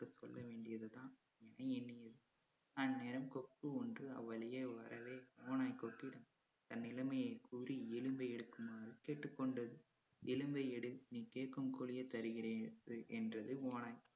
சொல்ல வேண்டியதுதான் அப்படி எண்ணியது அந்நேரம் கொக்கு ஒன்று அவ்வழியே வரவே ஓநாய் கொக்கிடம் தன் நிலைமையை கூறி எலும்பை எடுக்குமாறு கேட்டுக் கொண்டது எலும்பை எடு நீ கேட்கும் கூலியை தருகிறேன் என்று~ என்றது ஓநாய்